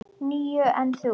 Níu, en þú?